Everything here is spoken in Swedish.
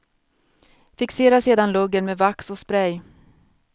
Fixera sedan luggen med vax och spray.